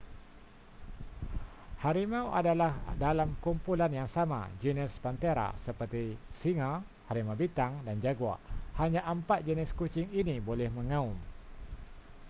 harimau adalah dalam kumpulan yang sama genus panthera seperti singa harimau bintang dan jaguar. hanya empat jenis kucing ini boleh mengaum